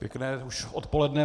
Pěkné už odpoledne.